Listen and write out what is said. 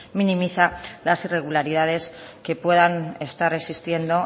minimiza las irregularidades que puedan estar existiendo